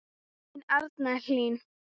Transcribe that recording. Þín Arna Hlín.